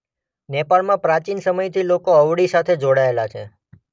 નેપાળમાં પ્રાચીન સમયથી લોકો અળવી સાથે જોડાયેલા છે.